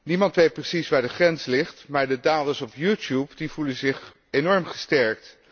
Niemand weet precies waar de grens ligt, maar de daders op YouTube voelen zich enorm gesterkt.